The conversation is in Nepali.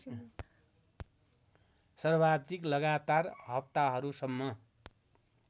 सर्वाधिक लगातार हप्ताहरूसम्म